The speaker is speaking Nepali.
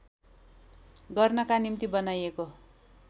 गर्नका निम्ति बनाइएको